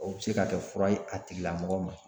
O bɛ se ka kɛ fura ye a tigilamɔgɔ ma